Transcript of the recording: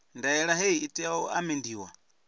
ndaela hei i tea u amendiwa